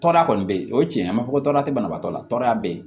Tɔɔrɔya kɔni bɛ yen o ye tiɲɛ ye a ma fɔ ko tɔrɔya tɛ banabagatɔ la tɔɔrɔya bɛ yen